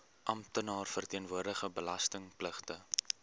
amptenaar verteenwoordigende belastingpligtige